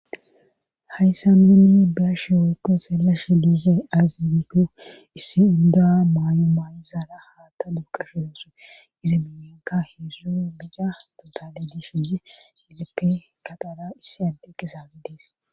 hayssa nuuni bashe workko seelashe diise aazibiko issi indoa maayo maayizala haata duukashidasue izibiyenka heessu bica botale di suye izipe kataara issi adde qisami dees